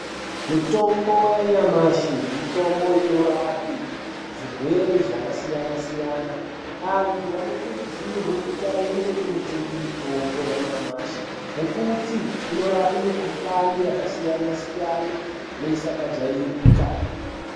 Mitombo yanyamashi ,mitombo inorapa zvirwere zvakasiyana-siyana. Antu ano. kurudzirwe kuti aende kundotenga mitombo yanyamashi ngekuti inorape mikhuhlane kasiyana-siyana neisina kujairika.